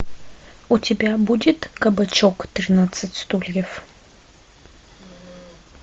у тебя будет кабачок тринадцать стульев